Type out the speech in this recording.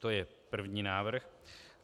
To je první návrh.